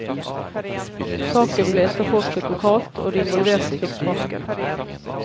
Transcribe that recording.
Saken ble etterforsket lokalt, og de involverte fikk sparken.